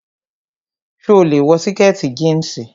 So lè wọ sìkẹ̀tì jíǹsì.